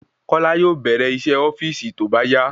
Kọ́lá yóò bèrè iṣé ofíìsì tóbá yá